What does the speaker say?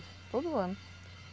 Todo ano.